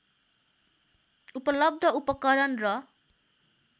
उपलब्ध उपकरण र